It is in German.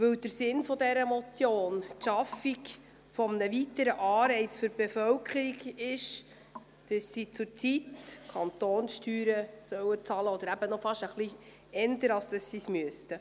Der Sinn dieser Motion ist es, einen weiteren Anreiz für die Bevölkerung zu schaffen, die Kantonssteuern pünktlich zu bezahlen.